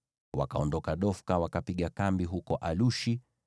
Wakaondoka Dofka, wakapiga kambi huko Alushi.